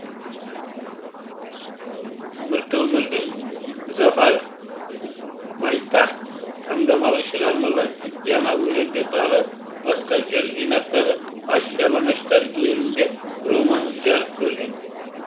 міртөмірдің зафар байтахт таңдамалы шығармалар жаңа өлеңдер тағы басқа жыр жинақтары аш жалаңаштар елінде романы жарық көрген